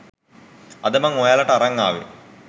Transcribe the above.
අද මං ඔයාලට අරන් ආවේ